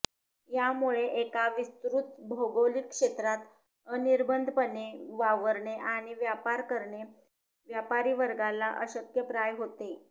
यामुळे एका विस्तृत भौगोलिक क्षेत्रात अनिर्बंधपणे वावरणे आणि व्यापार करणे व्यापारीवर्गाला अशक्यप्राय होते